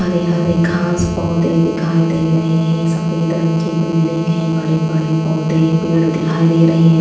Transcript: हरे हरे घास पौधे दिखाई दे रहे हैं सफेद रंग की बिल्डिंग है बड़े बड़े पौधे पेड़ दिखाई दे रहे हैं।